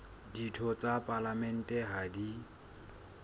ditho tsa palamente ha di